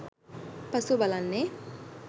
පසුව බලන්නේ